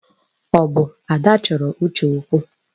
Ọ bụ Ada chọrọ Uche okwu?